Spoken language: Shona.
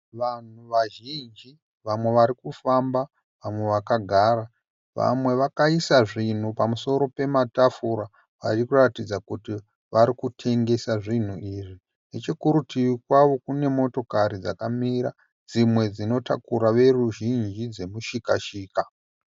Vanhu vazhinji vamwe varikufamba vamwe vakagara vamwe vakaisa zvinhu pamusoro pematafura varikuratidza kuti varikutengesa zvinhu izvi. Nechokuritivi kwavo kune motokari dzakamira dzimwe dzinotakura veruzhinji dzemushikashika.